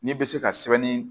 N'i bɛ se ka sɛbɛnni